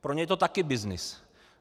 Pro ně je to taky byznys.